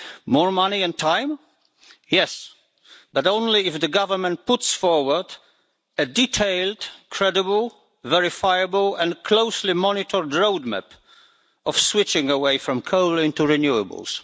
More money and time? Yes, but only if the Government puts forward a detailed, credible, verifiable and closely monitored roadmap of switching away from coal into renewables.